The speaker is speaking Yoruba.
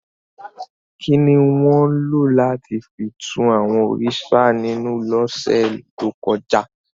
Kini won lo lati fi tú àwọn òrìṣà ninú lọ́se to kọja?